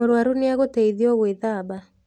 Mũruaru nĩ agũteithio gũĩthaba.